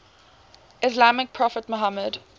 islamic prophet muhammad